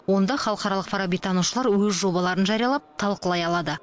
онда халықаралық фарабитанушылар өз жобаларын жариялап талқылай алады